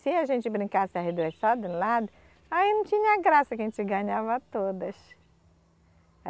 Se a gente brincasse as duas só de um lado, aí não tinha graça que a gente ganhava todas.